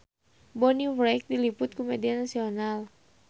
Bonnie Wright diliput ku media nasional